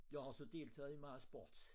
Jeg har også deltaget i meget sport